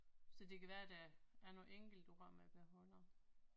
Så det kan være der er nogle enkelte ord man beholder